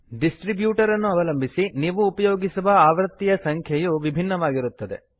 distributor ಅನ್ನು ಅವಲಂಬಿಸಿ ನೀವು ಉಪಯೋಗಿಸುವ ಆವೃತ್ತಿಯ ಸಂಖ್ಯೆಯು ವಿಭಿನ್ನವಾಗಿರುತ್ತದೆ